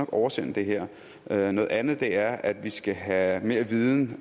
oversende det her noget andet andet er at vi skal have mere viden